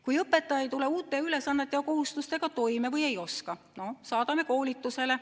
Kui õpetaja ei tule uute ülesannete ja kohustustega toime või ei oska, no siis saadame koolitusele.